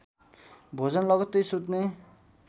भोजन लगत्तै सुत्ने